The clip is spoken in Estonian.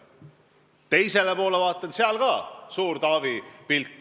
Vaatasin teisele poole, seal oli ka suur Taavi pilt.